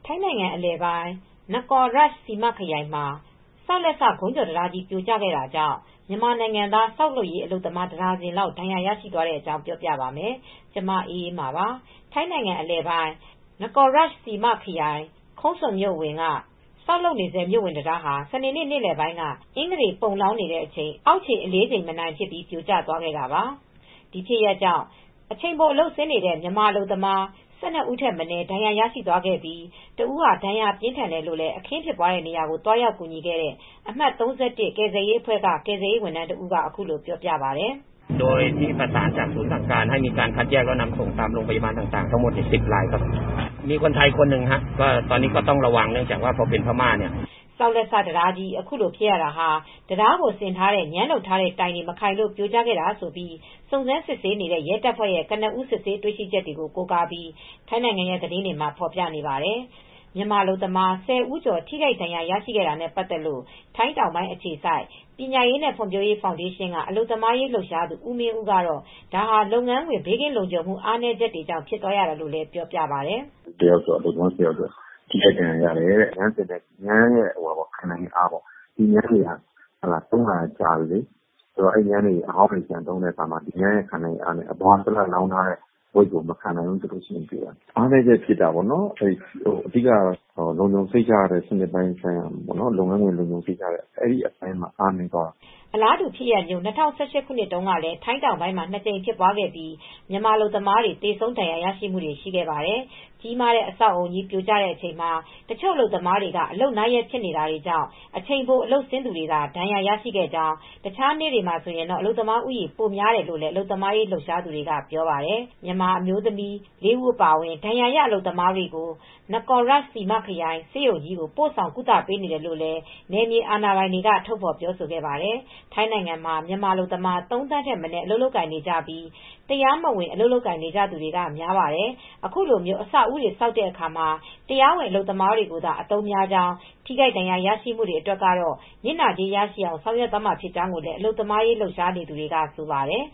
ိုင်းနိုင်ငံအလယ်ပိုင်း Nakhon Ratchasima ခရိုင်မှာ ဆောက်လက်စ ကုန်းကျော်တံတားကြီး ပြိုကျခဲ့တာကြောင့် မြန်မာနိုင်ငံသား ဆောက်လုပ်ရေး အလုပ်သမား တဒါဇင်လောက် ဒဏ်ရာရသွားပါတယ်။ အပြည့်အစုံကို ထိုင်းအခြေစိုက် ဗွီအိုအေမြန်မာပိုင်း သတင်းထောက် မအေးအေးမာ တင်ပြပေးထားပါတယ်။ ထိုင်းနိုင်ငံအလယ်ပိုင်း Nakhon Ratchasima ခရိုင် Khok Sung မြို့အဝင်က ဆောက်လုပ်နေဆဲ မြို့ဝင်တံတားဟာ စနေနေ့ နေ့လယ်ပိုင်းက အင်္ဂတေပုံလောင်းနေတဲ့အချိန် အောက်ခြေအလေးချိန် မနိုင်ဖြစ်ပြီး ပြိုကျသွားခဲ့တာပါ။ ဒီဖြစ်ရပ်ကြောင့် စနေနေ့ အချိန်ပိုအလုပ်ဆင်းနေကြတဲ့ မြန်မာနိုင်ငံသား အလုပ်သမား ၁၂ ဦးထက်မနည်း ဒဏ်ရာရသွားခဲ့ပြီး တဦးဟာ ဒဏ်ရာပြင်းထန်တယ်လို့ အခင်းဖြစ်ပွားတဲ့နေရာကို သွားရောက်ကူညီခဲ့တဲ့ အမှတ် ၃၁ ကယ်ဆယ်ရေးအဖွဲ့က ကယ်ဆယ်ရေးဝန်ထမ်းတဦးက ပြောပါတယ်။ “ဆောက်လက်စတံတားကြီး အခုလိုဖြစ်ရတာဟာ တံတားကို ဆင်ထားတဲ့ ငြမ်းလုပ်ထားတဲ့တိုင်တွေ မခိုင်လို့ ပြိုကျခဲ့တာဆိုပြီး စုံစမ်းစစ်ဆေးနေတဲ့ ရဲတပ်ဖွဲ့ဝင်တွေရဲ့ ကနဦး စစ်ဆေးတွေ့ရှိချက်တွေကို ကိုးကားပြီး ထိုင်းနိုင်ငံ သတင်းတွေမှာ ဖော်ပြထားပါတယ်။” မြန်မာအလုပ်သမား ၁၀ ဦးကျော် ထိခိုက်ဒဏ်ရာ ရရှိတာနဲ့ပတ်သက်လို့ ထိုင်းတောင်ပိုင်းအခြေစိုက် ပညာရေးနဲ့ ဖွံ့ဖြိုးရေးဖောင်ဒေးရှင်းက အလုပ်သမားရေးလှုပ်ရှားသူ ဦးမင်းဦးကတော့ ဒါဟာ လုပ်ငန်းခွင် ဘေးကင်းလုံခြုံမှု အားနည်းချက်ကြောင့် ဖြစ်သွားရတာလို့ ပြောပြပါတယ်။ “အလုပ်သမား ၁၀ ယောက်ကျော် ထိခိုက်ဒဏ်ရာရတယ်။ ငြမ်းတွေရဲ့ ခံနိုင်ရည်အားပေါ့၊ ငြမ်းတွေက သုံးတာတွေက ကြာပြီ။ ငြမ်းတွေက အဟောင်းတွေ ပြန်သုံးတဲ့အခါ အပေါ်က ဘိလပ်မြေလောင်းတဲ့အခါမှာ အပေါ်ကဝိတ်ကို မခံနိုင်ဖြစ်ပြီး ဖြစ်တတ်တာပေါ့နော်။ အဓိက လုပ်ငန်းခွင်လုံခြံုံရေးစနစ်ပိုင်း အဲဒီအပိုင်းမှာ အားနည်းသွားတာပေါ့နော်။” အလားတူဖြစ်ရပ်မျိုး ၂၀၁၈ ခုနှစ်ကလည်း ထိုင်းတောင်ပိုင်းမှာ ၂ ကြိမ်ဖြစ်ပွားခဲ့ပြီး မြန်မာအလုပ်သမားတွေ သေဆုံး ဒဏ်ရာရမှုတွေလည်း ရှိခဲ့ပါတယ်။ ကြီးမားတဲ့ အဆောက်အဦးကြီး ပြိုကျတဲ့အချိန်မှာ တချို့အလုပ်သမားတွေ အလုပ်နားရက်ဖြစ်တာကြောင့် အချိန်ပို အလုပ်ဆင်းကြသူတွေသာ ဒဏ်ရာရရှိခဲ့ကြောင်း၊ တခြားနေ့တွေဆို အလုပ်သမားဦးရေ ပိုများတယ်လို့လည်း အလုပ်သမားရေး လှုပ်ရှားသူတွေက ပြောဆိုပါတယ်။ မြန်မာအမျိုးသမီး ၄ ဦး အပါအဝင် ဒဏ်ရာရ အလုပ်သမားတွေကို Nakhon Ratchasima ခရိုင် ဆေးရုံကြီးကို ပို့ဆောင်ကုသပေးနေတယ်လို့လည်း နယ်မြေအာဏာပိုင်တွေက ထုတ်ဖော်ပြောဆိုသွားပါတယ်။ ထိုင်းနိုင်ငံမှာ မြန်မာအလုပ်သမား ၃ သန်းထက်မနည်း အလုပ်လုပ်ကိုင်နေကြပြီး တရားမဝင် အလုပ်လုပ်ကိုင်နေကြသူတွေက များပါတယ်။ အခုလို အဆောက်အဦးတွေ ဆောက်တဲ့အခါမှာတော့ တရားဝင်အလုပ်သမားတွေကိုသာ အသုံးများကြောင်း၊ ထိခိုက်ဒဏ်ရာရမှုတွေ အတွက်တော့ နစ်နာကြေး ရရှိနိုင်အောင် ဆောင်ရွက်သွားမှာဖြစ်ကြောင်း အလုပ်သမားရေး လှုပ်ရှားသူတွေက ဆိုပါတယ်